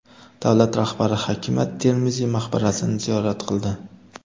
Davlat rahbari Hakim at-Termiziy maqbarasini ziyorat qildi.